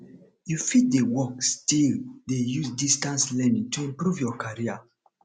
you fit dey work still dey use distance learning to improve your carrer